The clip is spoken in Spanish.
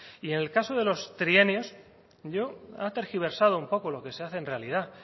y en el caso de los trienios yo ha tergiversado un poco lo que se hace en realidad